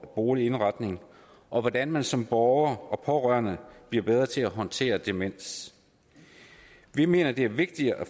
boligindretning og hvordan man som borger og pårørende bliver bedre til at håndtere demens vi mener det er vigtigt at